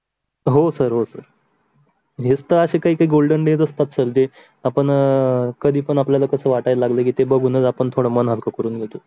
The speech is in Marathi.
हो सर, हो सर. हेच तर काही golden days असतात जे आपण अं आपल्यायला कस वाटायला लागल कि बघूनच आपन मन हल्क करून घेतो.